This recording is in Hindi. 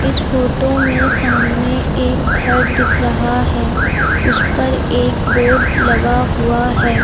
इस फोटो में सामने एक घर दिख रहा है उस पर एक बोर्ड लगा हुआ है।